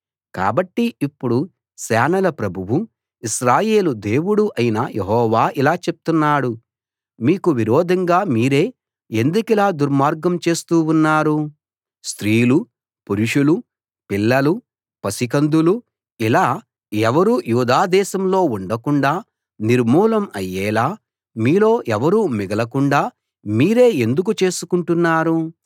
కాబట్టి ఇప్పుడు సేనల ప్రభువూ ఇశ్రాయేలు దేవుడూ అయిన యెహోవా ఇలా చెప్తున్నాడు మీకు విరోధంగా మీరే ఎందుకిలా దుర్మార్గం చేస్తూ ఉన్నారు స్త్రీలూ పురుషులూ పిల్లలూ పసికందులూ ఇలా ఎవరూ యూదా దేశంలో ఉండకుండా నిర్మూలం అయ్యేలా మీలో ఎవరూ మిగలకుండా మీరే ఎందుకు చేసుకుంటున్నారు